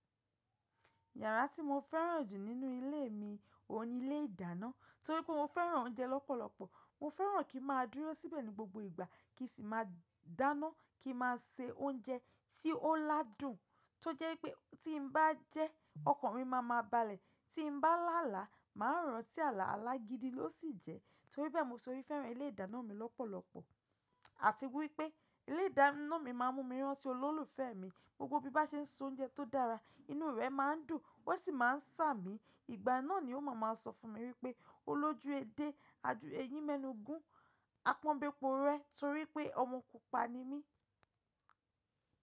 Yàrá tí mo fẹ́ràn jù nínú ilé mi oun nílé ìdáná torí pé mo fẹ́ràn oúnjẹ lọ́pọ̀lọpọ̀. Mo fẹ́ràn kí n má dúró síbẹ̀ ní gbogbo ìgbà kí sì máa dáná, kí n má a se oúnjẹ tí ó ládùn tó jẹ́ pé tí n bá jẹ́ ọkàn mi má máa balẹ̀. Tí n bá làálàá, màá ranti àlà alágidi ló sì jẹ́ torí bẹ́ẹ̀ mo sọ wí fẹ́ràn ilé ìdáná mi lọ́pọ̀lọpọ̀. Àti wípé ilé ìdáná mi máa ń mú mi rántí olólùfẹ́ mi. Gbogbo bí bá ṣe ń sọ oúnjẹ tó dára, inú rẹ̀ má ń dùn ó sì má ń sàmì. Ìgbà náà ni ó máa ma sọ fún mi wípé “O lójú edé, ẹyin mẹ́nu gun, apọ́n be po rẹ.” Torí pé ọmọ pupa ni mí.